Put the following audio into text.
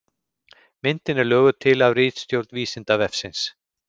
Myndin er löguð til af ritstjórn Vísindavefsins.